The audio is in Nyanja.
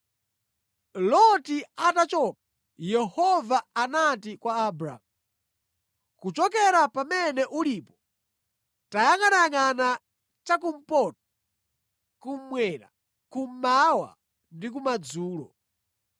Loti atachoka, Yehova anati kwa Abramu, “Kuchokera pamene ulipo tayangʼanayangʼana cha kumpoto, kummwera, kummawa ndi kumadzulo.